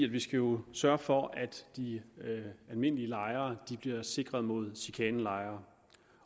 vi skal jo sørge for at de almindelige lejere bliver sikret mod chikanelejere